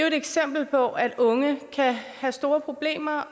et eksempel på at unge kan have store problemer